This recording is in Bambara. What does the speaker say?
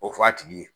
O f'a tigi ye